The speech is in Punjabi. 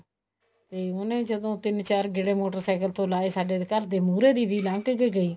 ਤਾਂ ਉਹਨੇ ਜਦੋਂ ਤਿੰਨ ਚਾਰ ਗੇੜੇ ਮੋਟਰਸਾਇਕਲ ਤੋਂ ਲਾਏ ਸਦੇ ਘਰ ਦੇ ਮੁਹਰੇ ਦੀ ਲੰਘ ਕੇ ਗਈ